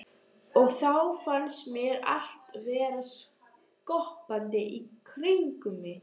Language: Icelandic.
Og þá fannst mér allt vera skoppandi í kringum mig.